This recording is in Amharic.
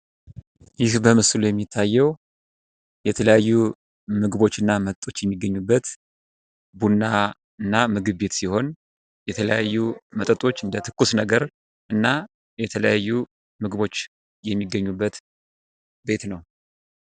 ይህ በምስሉ የሚታየው የተለያዩ ምግቦችና መጠጦች የሚገኙበት ቡናና ምግብ ቤት ሲሆን የተለያዩ የምግብ አይነቶች እና ትኩስ ነገሮች የሚገኙበት ቤት ነው ።